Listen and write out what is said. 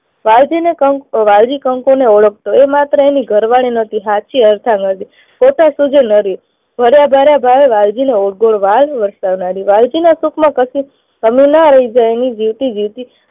વાલજી, વાલજી કંકુને ઓળખતો. એ માત્ર એની ઘરવાળી નહતી, એની સાચી અર્ધાંગીની હતી. પોતે સુખે નરી. ભર્યા ભર્યા ઘરે વાલજીને વરસાવનારી. વાલજીના સુખમાં કશી કમી ના રહી જાય એની વીતી વીતી રાખતી.